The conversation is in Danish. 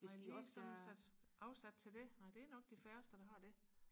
nej lige sådan sat afsat til det nej det er nok de færreste der har det